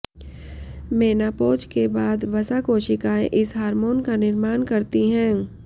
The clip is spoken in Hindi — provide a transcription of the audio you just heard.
मेनापोज के बाद वसा कोशिकाएं इस हार्मोन का निर्माण करती हैं